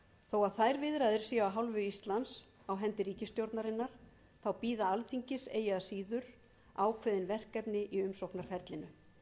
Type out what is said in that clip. þó að þær viðræður séu af íslands hálfu á hendi ríkisstjórnarinnar þá bíða alþingis eigi að síður ákveðin verkefni í umsóknarferlinu